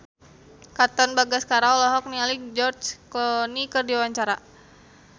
Katon Bagaskara olohok ningali George Clooney keur diwawancara